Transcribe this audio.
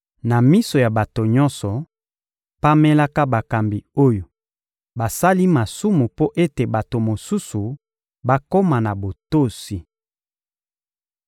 Na miso ya bato nyonso, pamelaka bakambi oyo basali masumu mpo ete bato mosusu bakoma na botosi.